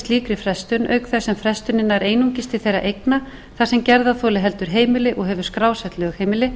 slíkri frestun auk þess sem frestunin nær einungis til þegar eigna þar sem gerðarþoli heldur heimili og hefur skrásett lögheimili